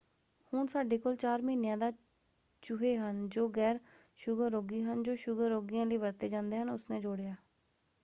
ਹੁਣ ਸਾਡੇ ਕੋਲ 4 ਮਹੀਨਿਆਂ ਦਾ ਚੂਹੇ ਹਨ ਜੋ ਗੈਰ-ਸ਼ੁਗਰ ਰੋਗੀ ਹਨ ਜੋ ਸ਼ੁਗਰ ਰੋਗੀਆਂ ਲਈ ਵਰਤੇ ਜਾਂਦੇ ਹਨ” ਉਸਨੇ ਜੋੜਿਆ।